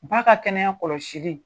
Ba ka kɛnɛya kɔlɔsi.